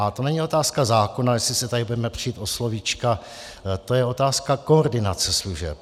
A to není otázka zákona, jestli se tady budeme přít o slovíčka, to je otázka koordinace služeb.